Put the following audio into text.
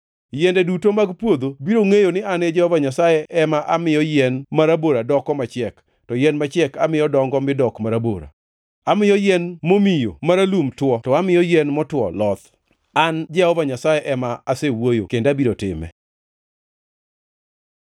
Yiende duto mag puodho biro ngʼeyo ni an Jehova Nyasaye ema amiyo yien marabora doko machiek, to yien machiek amiyo dongo mi dok marabora. Amiyo yien momiyo maralum two to amiyo yien motwo loth. “ ‘An Jehova Nyasaye ema asewuoyo kendo abiro time.’ ”